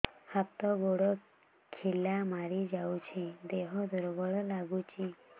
ହାତ ଗୋଡ ଖିଲା ମାରିଯାଉଛି ଦେହ ଦୁର୍ବଳ ଲାଗୁଚି